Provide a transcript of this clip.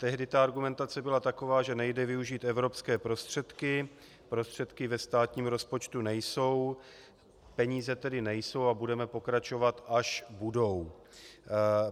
Tehdy ta argumentace byla taková, že nejde využít evropské prostředky, prostředky ve státním rozpočtu nejsou, peníze tedy nejsou a budeme pokračovat, až budou.